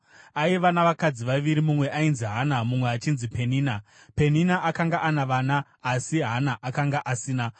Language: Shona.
Aiva navakadzi vaviri; mumwe ainzi Hana mumwe achinzi Penina. Penina akanga ana vana asi Hana akanga asina.